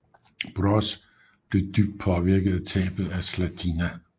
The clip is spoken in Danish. Broz blev dybt påvirket af tabet af Zlatina